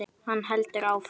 Hann heldur áfram.